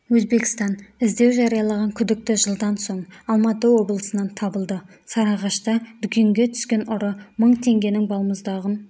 өзбекстан іздеу жариялаған күдікті жылдан соң алматы облысынан табылды сарыағашта дүкенге түскен ұры мың теңгенің балмұздағын